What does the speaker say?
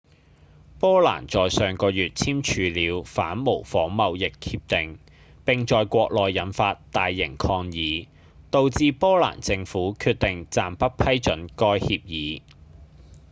波蘭在上個月簽署了反仿冒貿易協定並在國內引發大型抗議導致波蘭政府決定暫不批准該協議